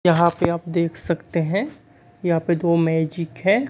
यहां पे आप देख सकते है यहां पे दो मैजिक है।